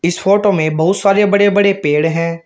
Photo में बहुत सारे बड़े बड़े पेड़ हैं।